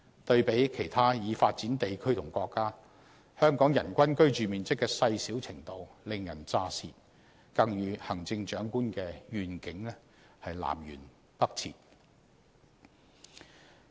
對比其他已發展地區和國家，香港人均居住面積的細小程度令人咋舌，更與行政長官的願景南轅北轍。